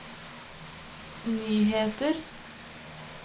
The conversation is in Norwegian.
nyheter